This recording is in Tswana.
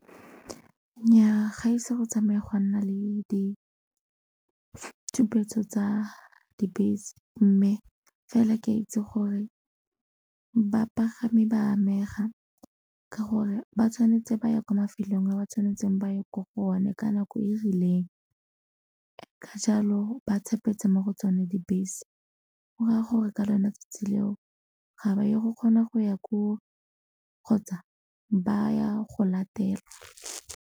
Nnyaa ga ise go tsamaya gwa nna le ditshupetso tsa dibese mme fela ke itse gore bapagami ba amega ka gore ba tshwanetse ba ya kwa mafelelong a ba tshwanetseng ba ye ko go one ka nako e rileng, ka jalo ba tshepetse mo go tsone dibese go raya gore ka lona 'tsatsi leo ga ba ye go kgona go ya koo kgotsa ba ya go latelwa.